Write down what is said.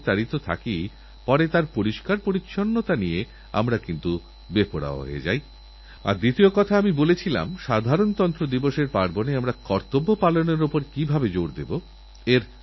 doctor যতক্ষণ পর্যন্ত লিখে না দিচ্ছেন ততক্ষণআমরা যেন এটা না খাই এই শর্টকাট রাস্তা পরিত্যাগ করি কারণ এর থেকে এক জটিলসমস্যার উদ্ভব হচ্ছে অ্যাণ্টিবায়োটিকের যথেচ্ছ ব্যবহারের ফলে রোগী তো সঙ্গেসঙ্গে সুস্থ হয়ে যাচ্ছে কিন্তু রোগের জীবানু এই সব